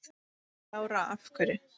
Lára: Af hverju?